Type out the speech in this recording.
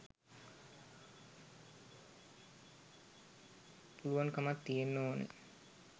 පුළුවන් කමක් තියෙන්න ඕන